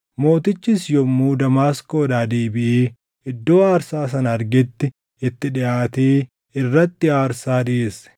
Mootichis yommuu Damaasqoodhaa deebiʼee iddoo aarsaa sana argetti itti dhiʼaatee irratti aarsaa dhiʼeesse.